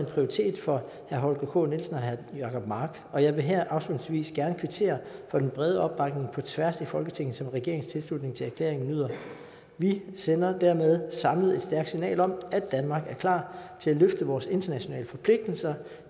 prioritet for herre holger k nielsen og herre jacob mark og jeg vil her afslutningsvis gerne kvittere for den brede opbakning på tværs af folketinget som regeringens tilslutning til erklæringen nyder vi sender dermed samlet et stærkt signal om at danmark er klar til at løfte vores internationale forpligtelser